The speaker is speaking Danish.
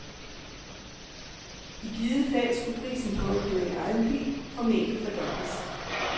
I givet fald, skulle prisen på at køre i egen bil formentlig fordobles.